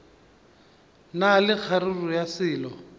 na le kgaruru ya selo